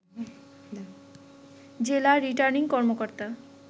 জেলা রিটার্নিং কর্মকর্তা